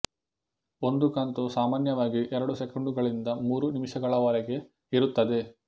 ಒಂದು ಕಂತು ಸಾಮಾನ್ಯವಾಗಿ ಎರಡು ಸೆಕುಂಡುಗಳಿಂದ ಮೂರು ನಿಮಿಷಗಳವರೆಗೆ ಇರುತ್ತದೆ